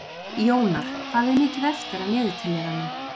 Jónar, hvað er mikið eftir af niðurteljaranum?